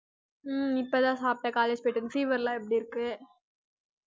ஹம் இப்பதான் சாப்டேன் college போயிட்டு வந்து fever லாம் எப்படி இருக்கு?